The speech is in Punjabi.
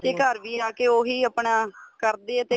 ਘਰ ਵੀ ਆ ਕੇ ਉਹੀ ਆਪਣਾ ਕਰਦੇ ਏ ਤੇ